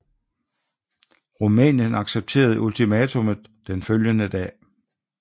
Rumænien accepterede ultimatummet den følgende dag